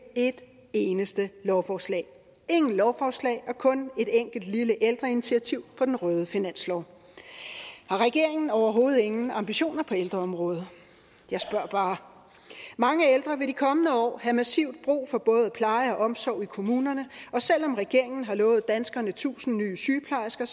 et eneste lovforslag ingen lovforslag og kun et enkelt lille ældreinitiativ på den røde finanslov har regeringen overhovedet ingen ambitioner på ældreområdet jeg spørger bare mange ældre vil de kommende år have massivt brug for både pleje og omsorg i kommunerne og selv om regeringen har lovet danskerne tusind nye sygeplejersker